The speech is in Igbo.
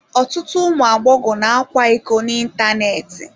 Ọtụtụ ụmụ agbọghọ na-akwa iko n'ịntanetị.